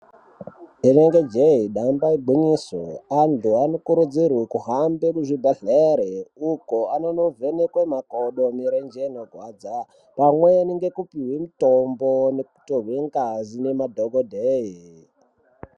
Rinenge jee damba igwinyiso antu anokurudzirwe kuhambe kuzvibhedhlere uku anondovhekwe makodo mirenje inorwadza pamweni ndekupihwe mutombo nekutorwa ngazi nemadokodhoyi.